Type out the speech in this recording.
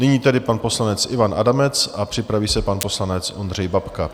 Nyní tedy pan poslanec Ivan Adamec a připraví se pan poslanec Ondřej Babka.